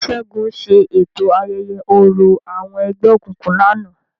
Segun ṣe eto ayẹyẹ orȯ awọn ẹgbẹokunkun lánàá.